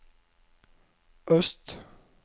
øst